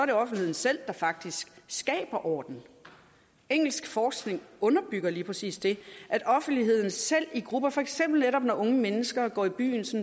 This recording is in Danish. det offentligheden selv der faktisk skaber orden engelsk forskning underbygger lige præcis det at offentligheden selv i grupper for eksempel netop når unge mennesker går i byen